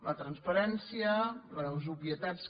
la transparència les obvietats